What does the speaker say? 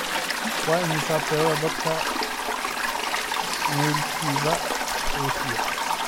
Waa imisa tirada dadka maylkiiba Aasiya?